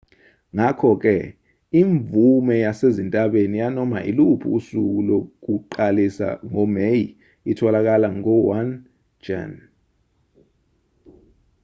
ngakho-ke imvume yasezintabeni yanoma iluphi usuku lokuqalisa ngomeyi itholakala ngo-1 jan